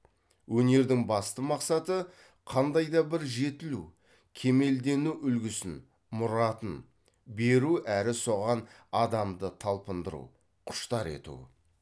өнердің басты мақсаты қандай да бір жетілу кемелдену үлгісін мұратын беру әрі соған адамды талпындыру құштар ету